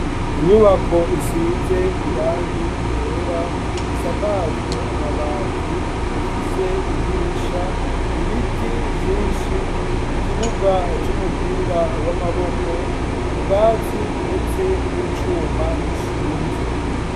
Inyubako, isize irangi ryera, isakajwe amabati, ifise idirisha; ibiti vyinshi, ikibuga c'umupira w'amaboko, ubwatsi, ndetse n'icuma gishinze.